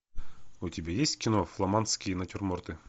у тебя есть кино фламандские натюрморты